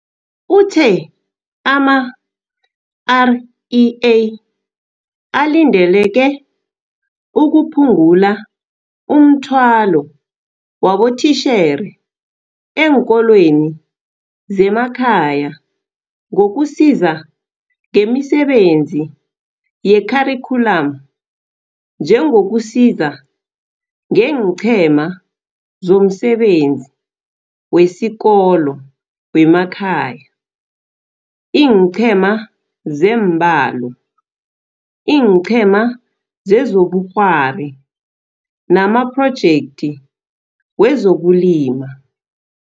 Uthe ama-REA alindeleke ukuphungula umthwalo wabotitjhere eenkolweni zemakhaya ngokusiza ngemisebenzi yekharikhyulamu njengokusiza ngeenQhema zomSebenzi wesiKolo weKhaya, iinqhema zeemBalo, iiNqhema zezobuKghwari namaPhrojekthi wezokuLima.